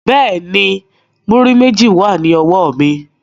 Bẹ́ẹ̀ni, múrí méjì wà ní ọwọ́ mi